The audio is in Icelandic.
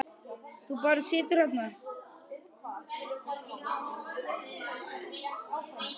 Þú bara situr þarna.